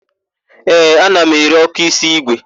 Ee, ana m ere ọ́kụ́ísí ígwè.